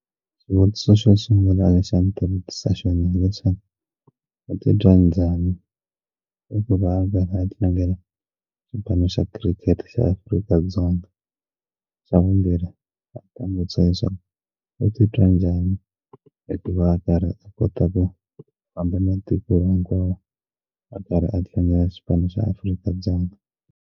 Xivutiso xo sungula lexi a ndzi ta vutisa xona hileswaku u titwa njhani i ku va a karhi a tlangela xipano xa cricket xa Afrika-Dzonga xa vumbirhi va ta sweswo u titwa njhani hikuva a karhi a kota ku famba na tiko hinkwaro a karhi a tlangela xipano xa Afrika-Dzonga.